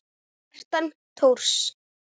Kjartan Thors.